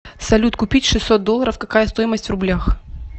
салют купить шестьсот долларов какая стоимость в рублях